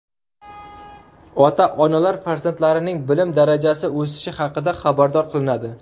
Ota-onalar farzandlarining bilim darajasi o‘sishi haqida xabardor qilinadi.